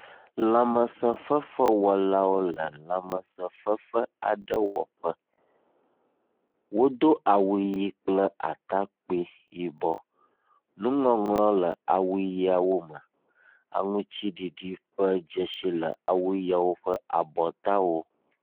lãmesē fefewɔla aɖewo le lãmesē fefewɔƒe wodó awu ɣe kple atakpui yibɔ nuŋɔŋlɔwo le awuɣiawo me aŋtsiɖiɖi ƒe dzesi le awu ɣiawo ƒe abɔtawo